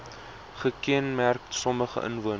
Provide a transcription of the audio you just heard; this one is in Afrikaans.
gekenmerk sommige inwoners